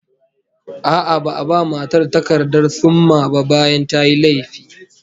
A'a, ba'a ba matar takardar thumma ba bayan tayi laifi